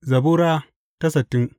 Zabura Sura sittin